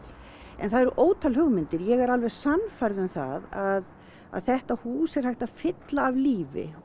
það eru ótal hugmyndir ég er alveg sannfærð um það að þetta hús er hægt að fylla af lífi